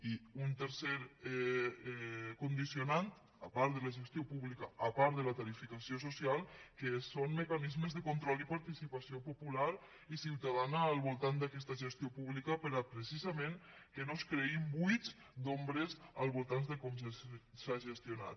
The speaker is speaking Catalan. i un tercer condicionant a part de la gestió pública a part de la tarifació social que són mecanismes de control i participació popular i ciutadana al voltant d’aquesta gestió pública perquè precisament no es creïn buits d’ombres al voltant de com s’ha gestionat